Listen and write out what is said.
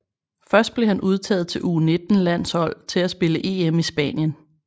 Først blev han udtaget til U19 landshold til at spille EM i Spanien